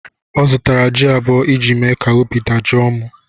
Ọ zụtara jị abụọ iji mee ka obi dajọọ mụ.